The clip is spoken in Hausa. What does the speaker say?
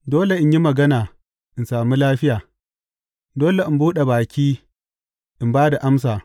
Dole in yi magana in sami lafiya; dole in buɗe baki in ba da amsa.